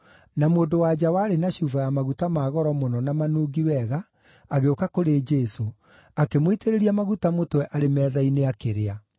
na mũndũ-wa-nja warĩ na cuba ya maguta ma goro mũno na manungi wega, agĩũka kũrĩ Jesũ, akĩmũitĩrĩria maguta mũtwe arĩ metha-inĩ akĩrĩa.